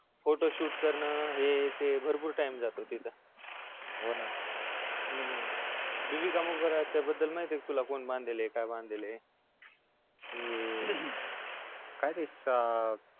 photoshoot करण हे ते भरपूर time जातो तिथ होना हूं बीबी का मकब-याच्याबद्दल माहितेय का तुला कोणी बांधलेलय काय बांधलेलय